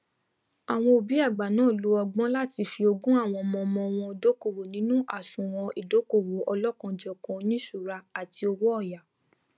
àwọn òbí àgbà náà lo ọgbọn láti fi ogún àwọn ọmọọmọ wọn dókòwò nínú àsùnwọn ìdókòwò ọlọkanòjọkan oníṣùúra àti owóyàá